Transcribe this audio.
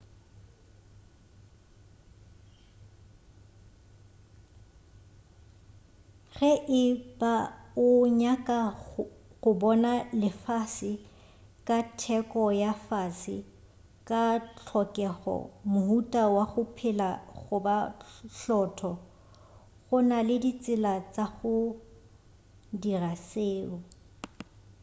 ge e ba o nyaka go bona lefase ka theko ya fase ka tlhokego mohuta wa go phela goba hlotlo go na le ditsela tša go dira seo